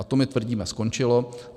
A to, my tvrdíme, skončilo.